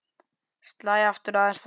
Slæ aftur aðeins fastar.